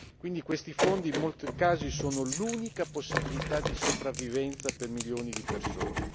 Quindi, questi fondi in molti casi sono l'unica possibilità di sopravvivenza per milioni di persone.